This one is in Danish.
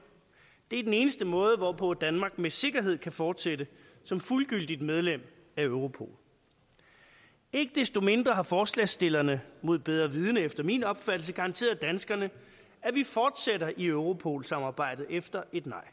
det er den eneste måde hvorpå danmark med sikkerhed kan fortsætte som fuldgyldigt medlem af europol ikke desto mindre har forslagsstillerne mod bedre vidende efter min opfattelse garanteret danskerne at vi fortsætter i europol samarbejdet efter et nej